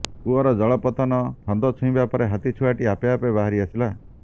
କୂଅର ଜଳ ପତ୍ତନ ଫନ୍ଦ ଛୁଇବା ପରେ ହାତୀ ଛୁଆଟି ଆପେ ବାହାରି ଆସିଲା